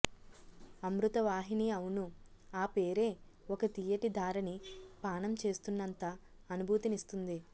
అమృతవాహిని అవును ఆ పేరే ఒక తీయటిధారని పానం చేస్తున్నంత అనుభూతినిస్తుంది